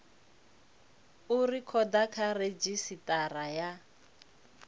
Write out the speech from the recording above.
u rekhoda kha redzhisitara ya